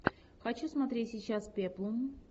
хочу смотреть сейчас пеплум